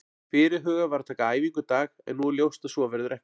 Fyrirhugað var að taka æfingu í dag en nú er ljóst að svo verður ekki.